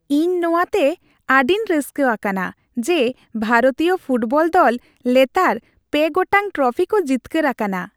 ᱤᱧ ᱱᱚᱣᱟᱛᱮ ᱟᱹᱰᱤᱧ ᱨᱟᱹᱥᱠᱟᱹ ᱟᱠᱟᱱᱟ ᱡᱮ ᱵᱷᱟᱨᱚᱛᱤᱭᱟᱹ ᱯᱷᱩᱴᱵᱚᱞ ᱫᱚᱞ ᱞᱮᱛᱟᱲ ᱓ ᱜᱚᱴᱟᱜ ᱴᱨᱚᱯᱷᱤ ᱠᱚ ᱡᱤᱛᱠᱟᱹᱨ ᱟᱠᱟᱱᱟ ᱾